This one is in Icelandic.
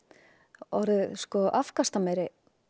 orðið afkastameiri